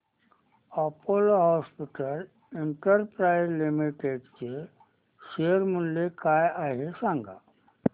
Apollo hospitals enterprise limited चे share मूल्य काय आहे सांगा